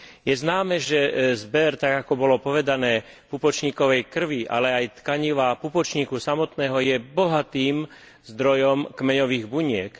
Je známe, že zber, tak ako bolo povedané, pupočníkovej krvi, ale aj tkaniva pupočníka samotného, je bohatým zdrojom kmeňových buniek.